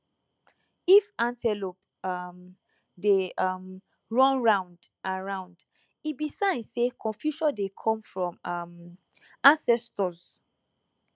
if antelope um dey um run round and round e be sign say confusion dey come from um ancestors